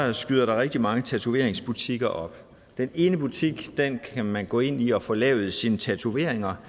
der skyder rigtig mange tatoveringsbutikker op den ene butik kan man gå ind i og få lavet sine tatoveringer